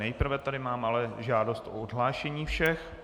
Nejprve tady mám ale žádost o odhlášení všech.